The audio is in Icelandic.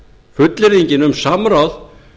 fullyrðingin um samráð